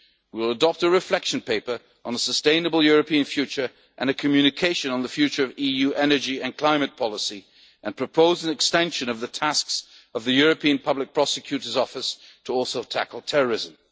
decisions. We will adopt a reflection paper on a sustainable European future and a communication on the future of EU energy and climate policy and propose an extension of the tasks of the European Public Prosecutor's Office to also tackle